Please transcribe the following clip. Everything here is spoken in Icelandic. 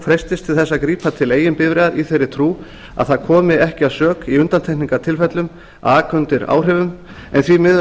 freistist til þess að grípa eigin bifreiðar í þeirri trú að það komi ekki að sök í undantekningartilfellum að aka undir áhrifum en því miður